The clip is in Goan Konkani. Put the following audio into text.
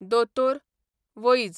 दोतोर, वैज